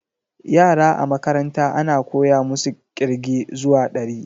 Yara a makaranta ana koya musu ƙirge zuwa dari